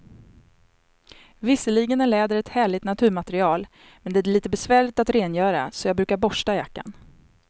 Visserligen är läder ett härligt naturmaterial, men det är lite besvärligt att rengöra, så jag brukar borsta jackan.